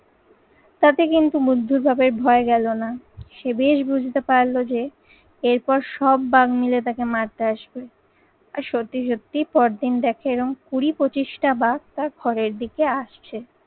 তাতে কিন্তু বুদ্ধর বাপের ভয় গেলো না। সে বেশ বুঝতে পারলো যে এরপর সব বাঘ মিলে তাকে মারতে আসবে। আর সত্যি সত্যি পরদিন দেখে এরম কুড়ি পঁচিশটা বাস তার ঘরের দিকে আসছে।